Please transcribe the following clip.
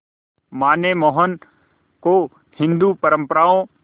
मां ने मोहन को हिंदू परंपराओं